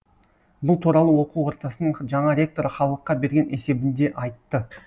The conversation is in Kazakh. бұл туралы оқу ордасының жаңа ректоры халыққа берген есебінде айтты